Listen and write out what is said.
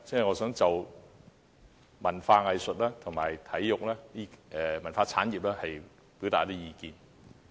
我想就文化、藝術和體育等方面表達意見。